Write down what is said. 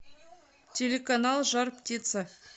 телеканал жар птица